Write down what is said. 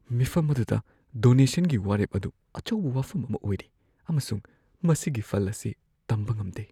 ꯃꯤꯐꯝ ꯑꯗꯨꯗ ꯗꯣꯅꯦꯁꯟꯒꯤ ꯋꯥꯔꯦꯞ ꯑꯗꯨ ꯑꯆꯧꯕ ꯋꯥꯐꯝ ꯑꯃ ꯑꯣꯏꯔꯤ ꯑꯃꯁꯨꯡ ꯃꯁꯤꯒꯤ ꯐꯜ ꯑꯁꯤ ꯇꯝꯕ ꯉꯝꯗꯦ꯫